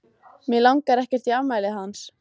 Mig langar ekkert í afmælið hans.